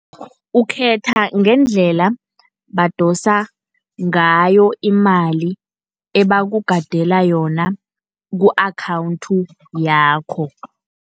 Ukhetha ngendlela badosa ngayo imali ebakubhadela yona ku-akhawunthi yakho.